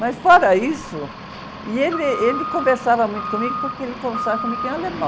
Mas, fora isso... E ele, ele conversava muito comigo, porque ele conversava comigo em alemão.